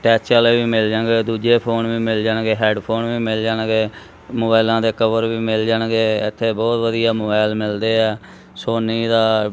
Touch ਵਾਲੇ ਵੀ ਮਿਲ ਜਾਗਾ ਦੂਜੇ ਫੋਨ ਵੀ ਮਿਲ ਜਾਣਗੇ ਹੈਡਫੋਨ ਵੀ ਮਿਲ ਜਾਣਗੇ ਮੋਬਾਇਲਾਂ ਤੇ ਕਵਰ ਵੀ ਮਿਲ ਜਾਣਗੇ ਇਥੇ ਬਹੁਤ ਵਧੀਆ ਮੋਬਾਇਲ ਮਿਲਦੇ ਆ ਸੋਨੀ ਦਾ।